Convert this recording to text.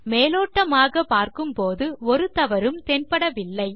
மேலோட்டமாக பார்க்கும்போது ஒரு தவறும் தென்படவில்லை